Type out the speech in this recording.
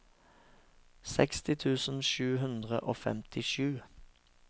seksti tusen sju hundre og femtisju